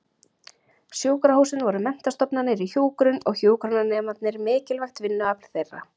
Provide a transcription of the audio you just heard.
Sjúkrahúsin voru menntastofnanir í hjúkrun og hjúkrunarnemarnir mikilvægt vinnuafl þeirra.